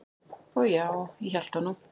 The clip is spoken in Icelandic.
"""Og já, ég hélt það nú."""